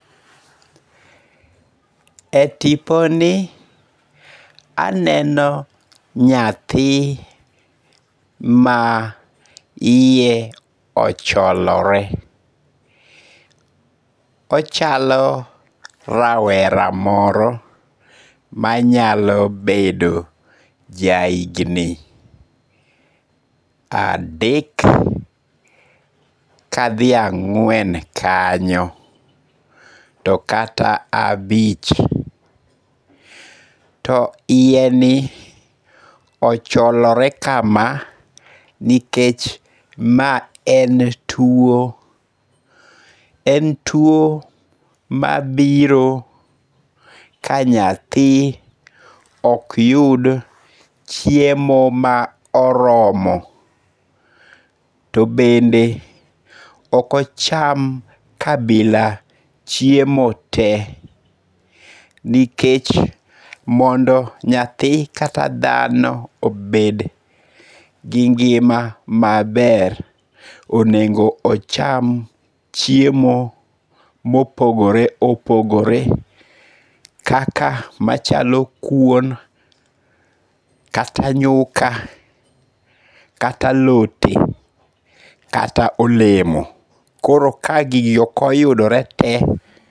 E tiponi aneno nyathi ma iye ocholore, ochalo rawera moro manyalo bedo ja higni adek kathi ang'wen kanyo to kata abich. To iyeni ocholore kama nikech ma en tuo, en tuo mabiro ka nyathi okyud chiemo ma oromo, to bende ok ocham kabila chiemo te, nikech mondo nyathi kata dhano obed gi ngi'ma maber onego ocham chiemo ma opogore opogore kaka machalo kuom kata ngu'ka kata alote kata olemo koro ka gigi okoyudore te